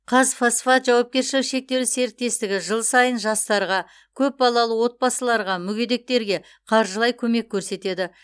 қазфосфат жауапкершілігі шектеулі серіктестігі жыл сайын жастарға көп балалы отбасыларға мүгедектерге қаржылай көмек көрсетеді